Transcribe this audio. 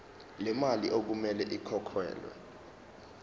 lemali okumele ikhokhelwe